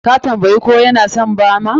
Ka tambayi ko ya na son bama?